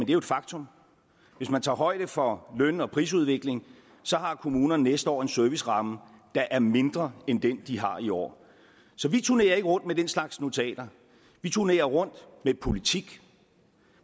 jo et faktum hvis man tager højde for løn og prisudviklingen har kommunerne næste år en serviceramme der er mindre end den de har i år så vi turnerer ikke rundt med den slags notater vi turnerer rundt med politik